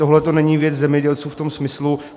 Tohle není věc zemědělců v tom smyslu.